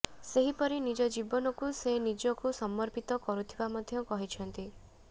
ସେହିପରି ନିଜ ଜୀବନକୁ ସେ ନିଜକୁ ସମର୍ପିତ କରୁଥିବା ମଧ୍ୟ କହିଛନ୍ତି